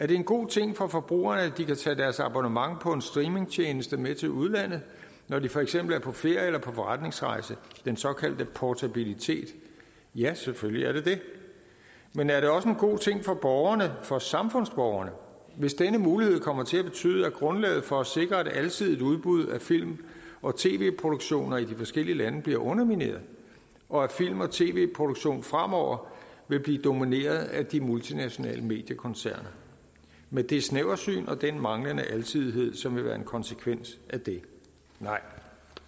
det en god ting for forbrugerne at de kan tage deres abonnement på en streamingtjeneste med til udlandet når de for eksempel er på ferie eller på forretningsrejse den såkaldte portabilitet ja selvfølgelig er det det men er det også en god ting for borgerne for samfundsborgerne hvis denne mulighed kommer til at betyde at grundlaget for at sikre et alsidigt udbud af film og tv produktioner i de forskellige lande bliver undermineret og at film og tv produktion fremover vil blive domineret af de multinationale mediekoncerner med det snæversyn og den manglende alsidighed som vil være en konsekvens af det nej